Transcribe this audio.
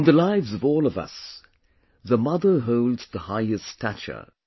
In the lives of all of us, the Mother holds the highest stature